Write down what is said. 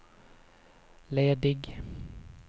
ledig